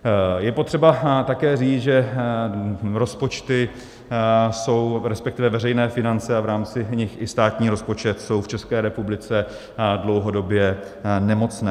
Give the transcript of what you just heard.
Je potřeba také říct, že veřejné finance a v rámci nich i státní rozpočet jsou v České republice dlouhodobě nemocné.